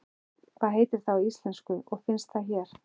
Hvað heitir það á íslensku og finnst það hér?